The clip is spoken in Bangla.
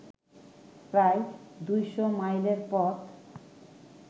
প্রায় ২০০ মাইলের পথ